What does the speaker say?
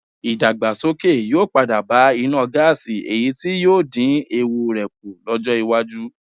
Ìdàgbàsókè yóò padà bá iná gáàsì èyí tí yóò dín ewu rẹ̀ kù lọ́jọ́ iwájú